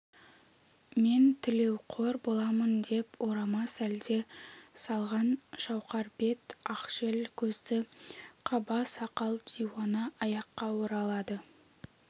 мен тілеуқор боламын деп орама сәлде салған шауқар бет ақшел көзді қаба сақал диуана аяққа оралады